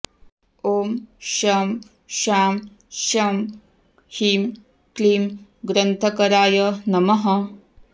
ॐ शं शां षं ह्रीं क्लीं ग्रन्थकराय नमः